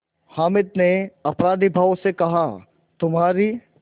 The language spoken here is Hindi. हामिद ने अपराधीभाव से कहातुम्हारी